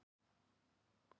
Hvað reykja margir á Íslandi?